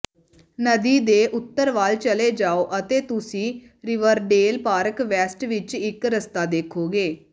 ਨਦੀ ਦੇ ਉੱਤਰ ਵੱਲ ਚਲੇ ਜਾਓ ਅਤੇ ਤੁਸੀਂ ਰਿਵਰਡੇਲ ਪਾਰਕ ਵੈਸਟ ਵਿੱਚ ਇੱਕ ਰਸਤਾ ਦੇਖੋਗੇ